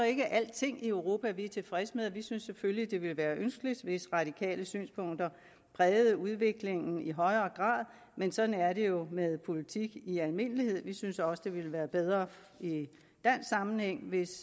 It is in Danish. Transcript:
ikke alting i europa vi er tilfredse med vi synes selvfølgelig at det ville være ønskeligt hvis radikale synspunkter prægede udviklingen i højere grad men sådan er det jo med politik i almindelighed vi synes også det ville være bedre i dansk sammenhæng hvis